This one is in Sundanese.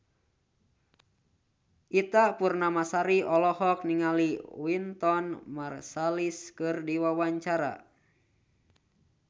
Ita Purnamasari olohok ningali Wynton Marsalis keur diwawancara